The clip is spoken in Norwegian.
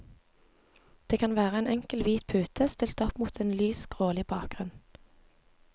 Det kan være en enkel hvit pute, stilt opp opp mot en lys, grålig bakgrunn.